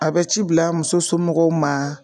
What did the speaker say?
A bɛ ci bila muso somɔgɔw ma.